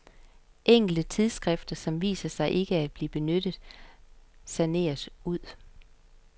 Enkelte tidsskrifter, som viser sig ikke at blive benyttet, saneres ud.